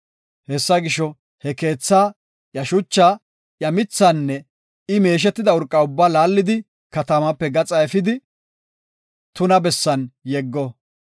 Hessa gisho, he keethaa, iya shuchaa, iya mithaanne I meeshetida urqa ubbaa laallidi katamaape gaxa efidi, tuna bessan yeggo.